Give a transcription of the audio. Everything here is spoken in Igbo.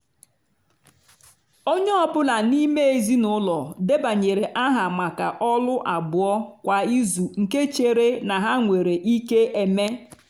onye ọ bụla n'ime ezinụlọ debanyere aha maka ọlụ abụọ kwa izu nke chere na ha nwere ike eme.